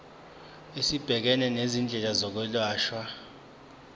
esibhekene nezindleko zokwelashwa